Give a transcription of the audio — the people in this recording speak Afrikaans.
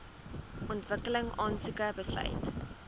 ontwikkeling aansoek besluit